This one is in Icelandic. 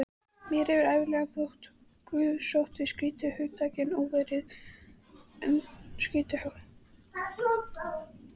Mér hefur ævinlega þótt guðsótti skrýtið hugtak og óviðfelldið.